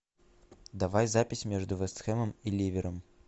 давай запись между вест хэмом и ливером